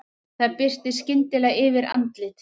Það birtir skyndilega yfir andliti